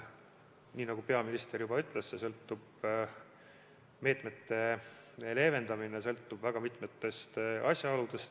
Nii nagu peaminister juba ütles, meetmete leevendamine sõltub väga mitmetest asjaoludest.